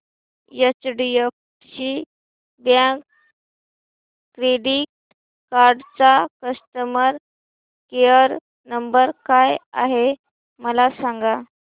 HDFC bank credit card चा customer care number काय आहे मला सांगा